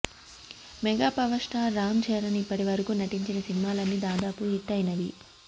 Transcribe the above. mega power star Ram Charan ఇప్పటివరకు నటించిన సినిమాలన్నీ దాదాపు హిట్ అయినవి